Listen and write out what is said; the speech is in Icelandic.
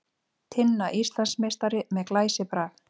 Tinna Íslandsmeistari með glæsibrag